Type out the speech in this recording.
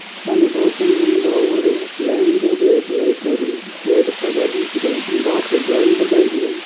शाम दो तीन गमला और है लाइन गेड़ी एक लाइट आली पेड़ पौधा दिख रया है बहार कर जाली लगाएड़ी है।